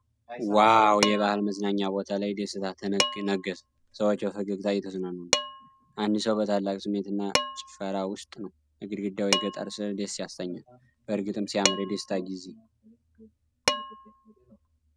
ዋው! የባህል መዝናኛ ቦታ ላይ ደስታ ነገሰ። ሰዎች በፈገግታ እየተዝናኑ ነው። አንድ ሰው በታላቅ ስሜትና ጭፈራ ውስጥ ነው። የግድግዳው የገጠር ሥዕል ደስ ያሰኛል። በእርግጥም ሲያምር፣ የደስታ ጊዜ!